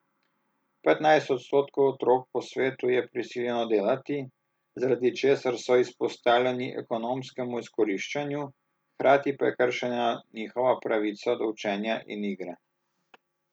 Petnajst odstotkov otrok po svetu je prisiljeno delati, zaradi česar so izpostavljeni ekonomskemu izkoriščanju, hkrati pa je kršena njihova pravica do učenja in igre.